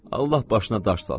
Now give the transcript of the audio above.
Allah başına daş salsın!